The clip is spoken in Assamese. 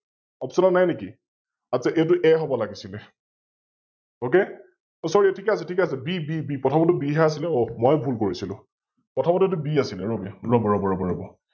Option ত নাই নে কি? আচ্ছা এইতো A হব লাগিছিলে, Ok! অ Sorry ঠিকে আছে, ঠিকে আছে BB প্ৰথমৰটো B হে আছিলে, অঃ মই ভুল কৰিছিলো, প্ৰথমতে এইতো B আছিলে ৰবি, অলপ ৰব, ৰব, ৰব,